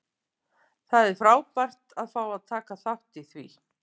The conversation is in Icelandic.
Það er frábært að fá að taka þátt í því.